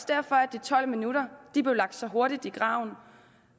derfor at de tolv minutter så hurtigt i graven